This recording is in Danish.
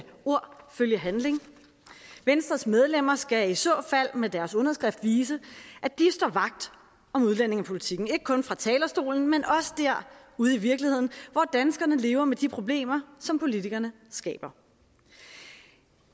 ord følge handling venstres medlemmer skal i så fald med deres underskrift vise at de står vagt om udlændingepolitikken ikke kun fra talerstolen men også ude i virkeligheden hvor danskerne lever med de problemer som politikerne skaber